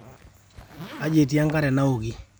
kaji etii enkare naoki